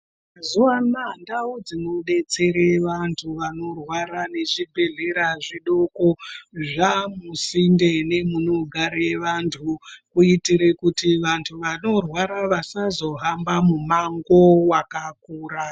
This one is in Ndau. Mazuwa anaya ndau dzinodetserwe vantu vaorwara nezvibhedhlera zvidoko zvusinde nemunogare vantu kuitire kuti vantu vanorwara vasazohambaumango wakakura.